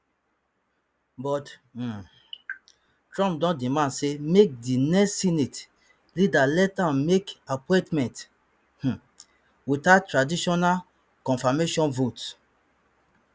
but um trump don demand say make di next senate leader let am make appointments um without traditional confirmation votes